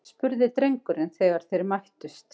spurði drengurinn þegar þeir mættust.